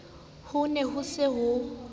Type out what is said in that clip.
ho ne ho se ho